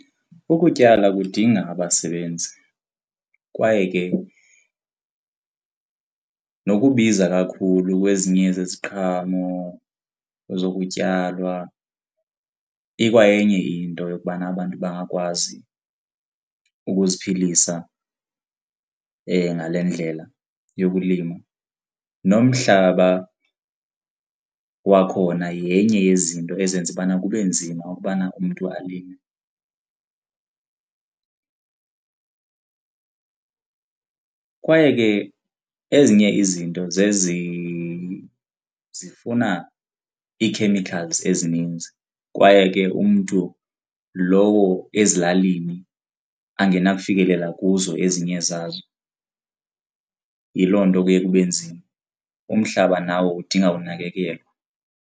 Ukutyala kudinga abasebenzi kwaye ke nokubiza kakhulu kwezinye zeziqhamo zokutyalwa ikwayenye into yokubana abantu bangakwazi ukuziphilisa ngale ndlela yokulima nomhlaba wakhona yenye yezinto ezenza ubana kube nzima ukubana umntu alime. Kwaye ke ezinye izinto zezi zifuna ii-chemicals ezininzi kwaye ke umntu lowo ezilalini angenakufikelela kuzo ezinye zazo, yiloo nto kuye kube nzima. Umhlaba nawo udinga unakekelwa.